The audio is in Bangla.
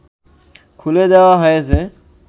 খুলে দেয়া হয়েছে